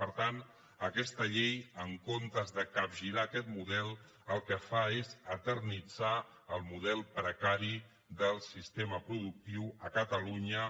per tant aquesta llei en comptes de capgirar aquest model el que fa és eternitzar el model precari del sistema productiu a catalunya